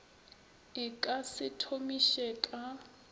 e ka se thomiše ka